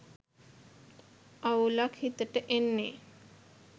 අවුලක් හිතට එන්නෙ